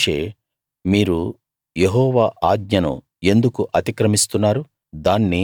కాని మోషే మీరు యెహోవా ఆజ్ఞను ఎందుకు అతిక్రమిస్తున్నారు